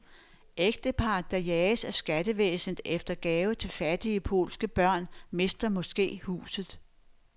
Ægteparret, der jages af skattevæsenet efter gave til fattige polske børn, mister måske huset.